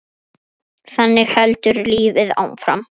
Þannig heldur lífið áfram.